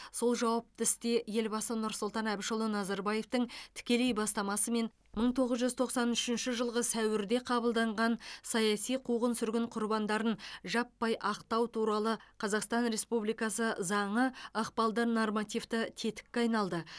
сол жауапты істе елбасы нұрсұлтан әбішұлы назарбаевтың тікелей бастамасымен мың тоғыз жүз тоқсан үшінші жылғы сәуірде қабылданған саяси қуғын сүргін құрбандарын жаппай ақтау туралы қазақстан республикасы заңы ықпалды нормативті тетікке айналды